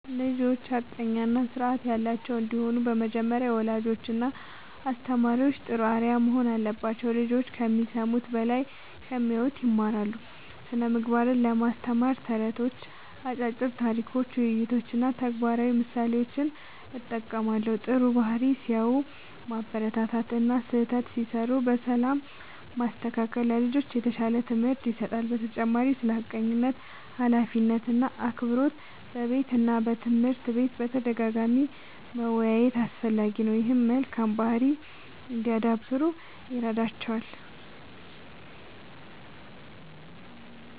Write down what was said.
ልጆች ሐቀኛ እና ስርዓት ያላቸው እንዲሆኑ በመጀመሪያ ወላጆችና አስተማሪዎች ጥሩ አርአያ መሆን አለባቸው። ልጆች ከሚሰሙት በላይ ከሚያዩት ይማራሉ። ስነ ምግባርን ለማስተማር ተረቶች፣ አጫጭር ታሪኮች፣ ውይይቶች እና ተግባራዊ ምሳሌዎችን እጠቀማለሁ። ጥሩ ባህሪ ሲያሳዩ ማበረታታት እና ስህተት ሲሠሩ በሰላም ማስተካከል ለልጆች የተሻለ ትምህርት ይሰጣል። በተጨማሪም ስለ ሐቀኝነት፣ ኃላፊነት እና አክብሮት በቤትና በትምህርት ቤት በተደጋጋሚ መወያየት አስፈላጊ ነው። ይህም መልካም ባህሪ እንዲያዳብሩ ይረዳቸዋል።